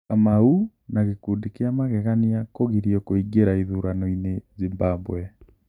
kamau na ''Gĩkundi kĩa magegania'' Kũgirio Kũingĩra Ithurano-inĩ Zimbabwe